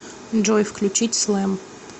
джой включить слэм